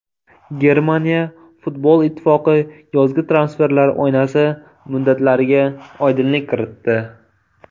Germaniya futbol ittifoqi yozgi transferlar oynasi muddatlariga oydinlik kiritdi .